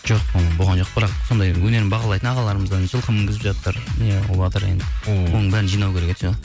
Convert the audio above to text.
жоқ болған жоқ бірақ сондай өнерімді бағалайтын ағаларымыздан жылқы мінгізіп жатыр оның бәрін жинау керек еді ше